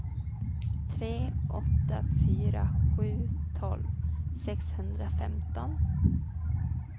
tre åtta fyra sju tolv sexhundrafemton